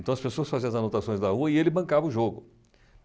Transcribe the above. Então, as pessoas faziam as anotações da rua e ele bancava o jogo.